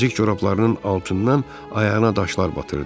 Nazik corablarının altından ayağına daşlar batırdı.